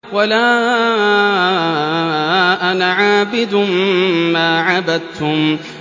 وَلَا أَنَا عَابِدٌ مَّا عَبَدتُّمْ